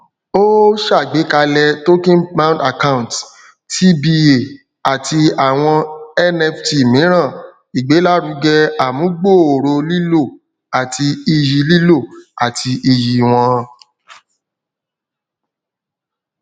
o ṣàgbékalẹ tokenbound account tba àti àwọn nft míràn igbelaruge amugbooro lilo àti iyì lilo àti iyì wọn